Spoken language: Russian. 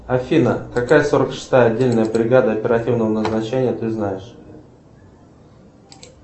афина какая сорок шестая отдельная бригада оперативного назначения ты знаешь